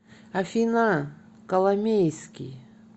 афина коломейский